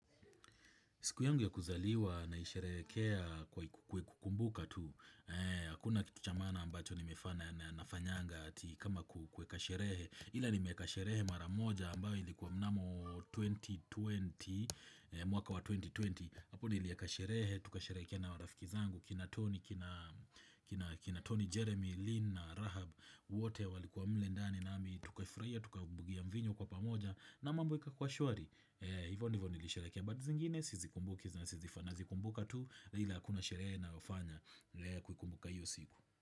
Siku yangu ya kuzaliwa nilisherehekea kwa kukumbuka tu. Hakuna kitu cha maana ambacho nimefanya na fanyanga ati kama kuweka sherehe. Ila nimeeka sherehe maramoja ambayo ilikuwa mnamo 2020, mwaka wa 2020. Hapo ni nilieka sherehe, tukasherehekea na marafiki zangu, kina Tony, kina Tony, Jeremy, Lynn, Rahab, wote walikuwa mle ndani nami tukafurahiia, tukabugia mvinyo kwa pamoja na mambo ikakuwa shwari. Hivyo ndivyo nilisherehekia but zingine Sizikumbuki na sizifanazi kumbuka tu ila kuna sherehe na hufanya lile kukumbuka hiyo siku.